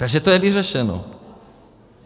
Takže to je vyřešeno.